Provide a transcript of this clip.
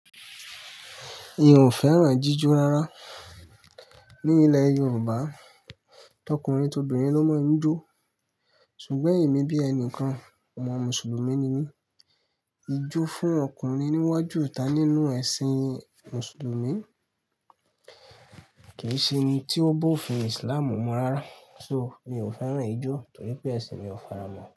Mi ò fẹ́ràn jíjó rárá. Ní ilẹ̀ Yorùbá, tọkùnrin tobìnrin ló máa ń jó. Ṣùgbọ́n èmi bí ẹni kan, ọmọ Mùsùlùmí ni mí. Ijó fún ọkùnrin níwájú ìta nínú ẹ̀sìn Mùsùlùmí kì í ṣe n tí ó bófin Islamú mu rárá. So, mio féràn ijo toripe ẹsin mi o faramọ.